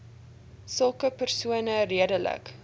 sulke persone redelik